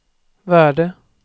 värde